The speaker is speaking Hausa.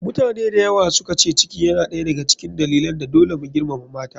Mutane dayawa suka ce ciki yana ɗaya da ga cikin dalilin da dole mu girmama mata.